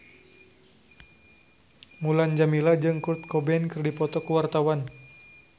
Mulan Jameela jeung Kurt Cobain keur dipoto ku wartawan